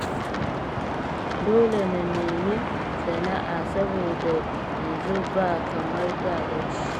Dole na nemi sana'a saboda yanzu ba kamar da ba ce